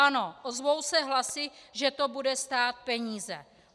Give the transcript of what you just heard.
Ano, ozvou se hlasy, že to bude stát peníze.